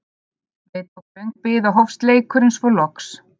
Við tók löng bið og hófst leikurinn svo loks.